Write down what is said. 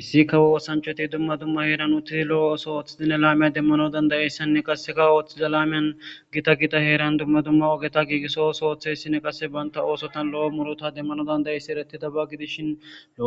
issi kawo oththanchati dumma dumma heran uttidi lo'o oththo othidi laame demanaw danddi'iyaysanne qasekka othiza lamene gitta gitta herran dumma dumma ogeta giggiso ooso othizayssine banta oththotan lo'o murutta demanaw danddayssiza eretidaba giddishin